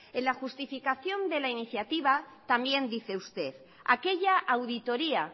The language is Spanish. en la justificación de la iniciativa también dice usted aquella auditoría